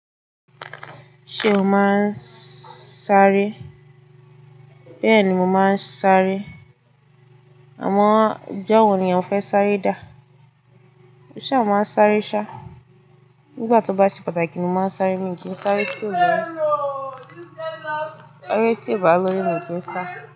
Ṣé o máa ń sáré? Bẹ́ẹ̀ ni mo máa ń sáré. Àmọ́ ọjọ́ wo ni ò fẹ́ sáré dà? O ṣa máa ń sáré ṣá. Nígbà tó bá ṣe pàtàkì ni mo máa ń sáré mi kin ń sáré tí ìbá lórí mo ti ń sá.